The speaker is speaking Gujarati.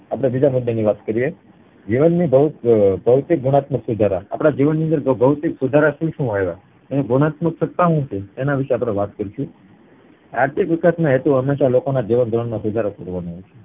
આપડે બીજા મુદ્દા ની વાત કરીએ જીવન ની ભૌ અ ભૌતિક ગુણાત્મક સુધારા આપડા જીવન માં ભૌતિક સુધારા શું શું આવ્યા અને ગુણાત્મક સત્તા શું છે તેના વિષે અપડે વાત કરીશું આર્થિક વિકાશ નો હેતુ હંમેશા લોકો ના જીવન ધોરણ નો સુધારો કરવામાં હોય છે